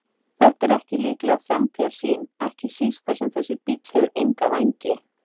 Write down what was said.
Þetta er ekki líkleg framtíðarsýn, ekki síst þar sem þessi bíll hefur enga vængi.